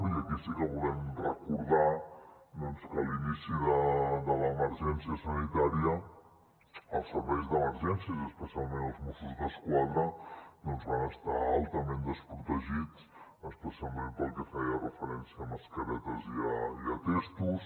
i aquí sí que volem recordar que a l’inici de l’emergència sanitària els serveis d’emergències i especialment els mossos d’esquadra doncs van estar altament desprotegits especialment pel que feia referència a mascaretes i a testos